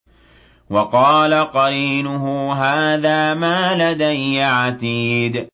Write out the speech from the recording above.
وَقَالَ قَرِينُهُ هَٰذَا مَا لَدَيَّ عَتِيدٌ